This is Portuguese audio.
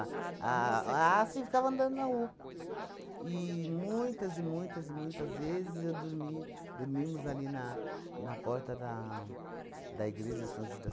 A. Ah, sim, ficava andando na rua. E muitas e muitas e muitas vezes eu dormi dormimos ali na na porta da da igreja São Judas